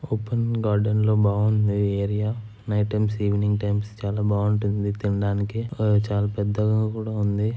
Open garden లో బాగుంది ఈ area . Night times evening times చాలా బాగుంటుంది తినడానికి. అలాగే చాలా పెద్దగా కూడా ఉంది.